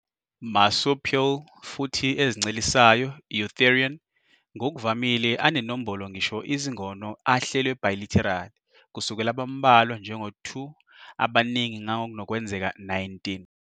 Marsupial futhi ezincelisayo eutherian ngokuvamile anenombolo ngisho izingono ahlelwe bilaterally, kusukela abambalwa njengoba 2 abaningi ngangokunokwenzeka 19.